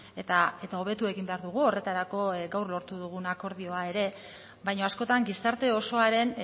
eta hobetu egin behar dugu horretarako gaur lortu dugun akordioa ere baina askotan gizarte osoaren